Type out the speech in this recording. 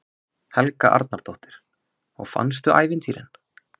Helga Arnardóttir: Og fannstu ævintýrin?